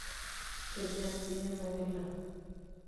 kejaa siye ena kila?